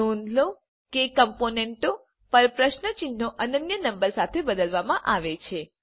નોંધ લો કે કમ્પોનેન્ટો પર પ્રશ્ન ચિહ્નો અનન્ય નંબર સાથે બદલવામાં આવે છે